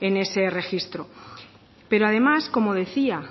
en ese registro pero además como decía